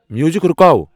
Music رُکاو ۔